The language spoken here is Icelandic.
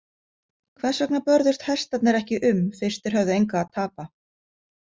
Hvers vegna börðust hestarnir ekki um fyrst þeir höfðu engu að tapa?